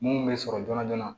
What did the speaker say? Mun bɛ sɔrɔ joona joona